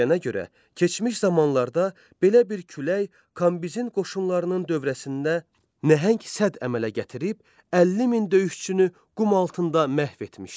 Deyilənə görə, keçmiş zamanlarda belə bir külək Kambizin qoşunlarının dövrəsində nəhəng sədd əmələ gətirib 50 min döyüşçünü qum altında məhv etmişdi.